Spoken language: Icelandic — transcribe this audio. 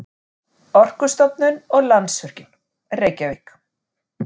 Orkustofnun og Landsvirkjun, Reykjavík.